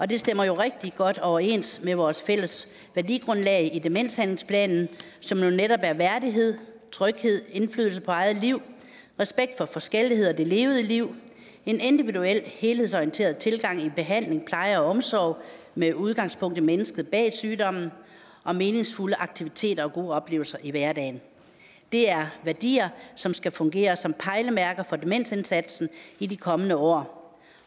det stemmer jo rigtig godt overens med vores fælles værdigrundlag i demenshandlingsplanen som netop er værdighed tryghed indflydelse på eget liv respekt for forskellighed og det levede liv en individuel helhedsorienteret tilgang i behandling pleje og omsorg med udgangspunkt i mennesket bag sygdommen og meningsfulde aktiviteter og gode oplevelser i hverdagen det er værdier som skal fungere som pejlemærker for demensindsatsen i de kommende år